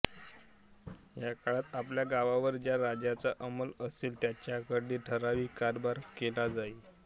या काळात आपल्या गावावर ज्या राजाचा अंमल असेल त्याच्याकडे ठराविक करभरणा केला जाई